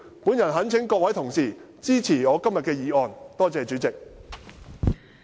我懇請各位同事支持我今天的議案。